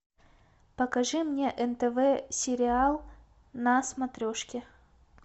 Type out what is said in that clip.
покажи мне нтв сериал на смотрешке